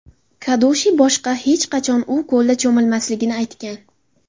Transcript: Kadushi boshqa hech qachon u ko‘lda cho‘milmasligini aytgan.